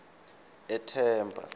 ethemba